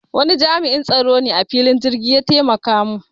Wani jami'in tsaro ne na filin jirki ya taimaka mun